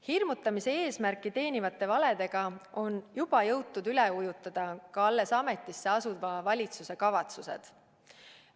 Hirmutamise eesmärki teenivate valedega on juba jõutud üle ujutada ka alles ametisse asuva valitsuse kavatsused.